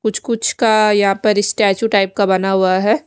कुछ कुछ का यहाँ पर स्टाछु टाइप का बना हुआ है।